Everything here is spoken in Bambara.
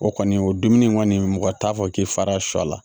O kɔni o dumuni in kɔni mɔgɔ t'a fɔ k'i fara sɔ la